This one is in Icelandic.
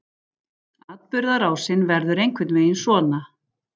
Atburðarásin verður einhvern veginn svona: